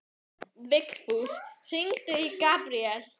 Vigfús, hringdu í Gabriel.